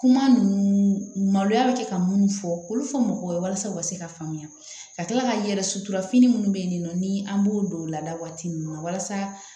Kuma ninnu maloya bɛ kɛ ka minnu fɔ olu fɔ mɔgɔw ye walasa u ka se ka faamuya ka tila ka yɛrɛ suturafini minnu bɛ yen nɔ ni an b'o don o lada waati ninnu na walasa